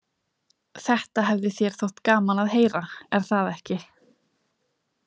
Þetta hefði þér þótt gaman að heyra, er það ekki?